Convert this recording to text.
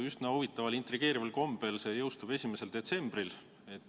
Üsna huvitaval ja intrigeerival kombel jõustub see seadus 1. detsembril.